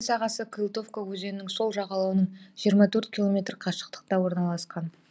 сағасы кылтовка өзенінің сол жағалауынан жиырма төрт километр қашықтықта орналасқан